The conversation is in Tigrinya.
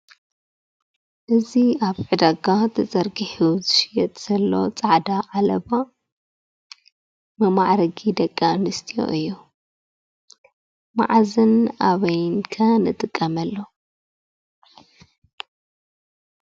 እዚ ኣብ ዕዳጋ ተዘርጊሑ ዝሽየጥ ዘሎ ፃዕዳ ዓለባ መማዕረጊ ደቂ ኣንስትዮ እዩ። መዓዝን ኣበይን ከ ንጥቀመሉ ?